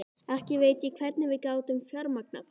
Ekki veit ég hvernig við gátum fjármagnað það.